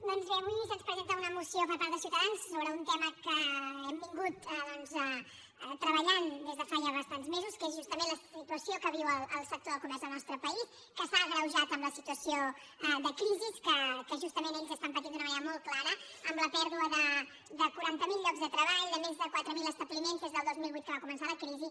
doncs bé avui se’ns presenta una moció per part de ciutadans sobre un tema que hem treballat des de fa bastants mesos que és justament la situació que viu el sector del comerç al nostre país que s’ha agreujat amb la situació de crisi que justament ells estan patint d’una manera molt clara amb la pèrdua de quaranta mil llocs de treball de més de quatre mil establiments des del dos mil vuit que va començar la crisi